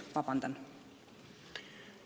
Vabandust!